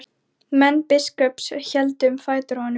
Menn biskups héldu um fætur honum.